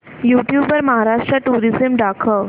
YouTube वर Maharashtra tourism दाखव